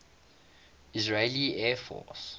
israeli air force